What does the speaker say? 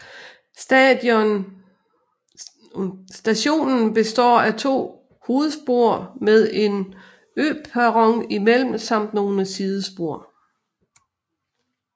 Stationen består af to hovedspor med en øperron imellem samt nogle sidespor